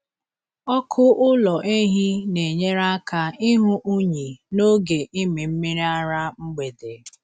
Ọkụ ụlọ ehi na-enyere aka ịhụ unyi n’oge ịmị mmiri ara mgbede.